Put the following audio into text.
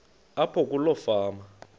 apho kuloo fama